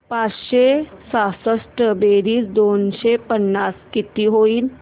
पाचशे सहासष्ट बेरीज दोनशे पन्नास किती होईल